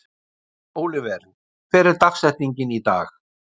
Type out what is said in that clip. Ólíver, hver er dagsetningin í dag?